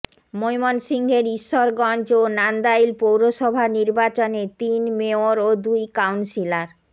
ময়মনসিংহের ঈশ্বরগঞ্জ ও নান্দাইল পৌরসভা নির্বাচনে তিন মেয়র ও দুই কাউন্সিলর